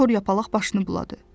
Kor yapaq başını buladı.